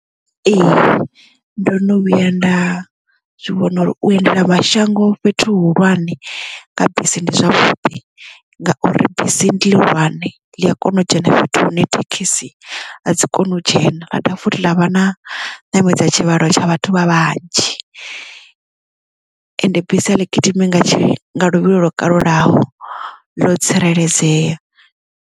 Ee ndo no vhuya nda zwivhona uri u endela mashango fhethu hu hulwane nga bisi ndi zwavhuḓi ngauri bisi ndi ḽihulwane ḽi a kona u dzhena fhethu hune thekhisi a dzi koni u dzhena ra dovha futhi ḽa vha na ṋamedza tshivhalo tsha vhathu vha vhanzhi ende bisi aḽi gidimi nga luvhilo lwo kalulaho ḽo tsireledzea.